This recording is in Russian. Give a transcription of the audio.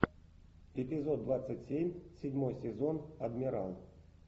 эпизод двадцать семь седьмой сезон адмирал